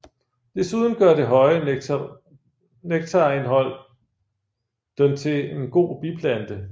Desuden gør det høje nektarindhold den til en god biplante